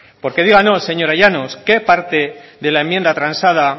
porque díganos señora llanos qué parte de la enmienda transada